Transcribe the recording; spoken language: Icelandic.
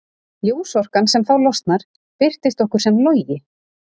Ljósorkan sem þá losnar birtist okkur sem logi.